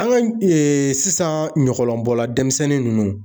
An ka sisan ɲɔgɔlɔnbɔlan denmisɛnnin nunnu